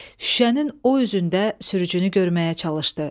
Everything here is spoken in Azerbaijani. Şüşənin o üzündə sürücünü görməyə çalışdı.